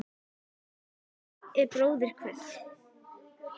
Það skiptir engu máli hver er bróðir hvers.